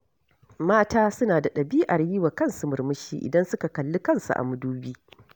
Mata suna da ɗabi'ar yi wa kansu murmushi idan suka kalli kansu a madubi.